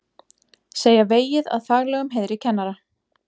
Segja vegið að faglegum heiðri kennara